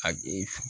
A